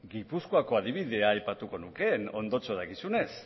gipuzkoako adibidea aipatuko nuke ondotxo dakizunez